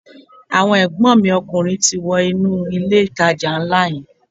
Àwọn ègbón mi ọkùnrin ti wọ inú ilé ìtajà nlá yẹn